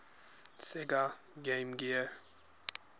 sega game gear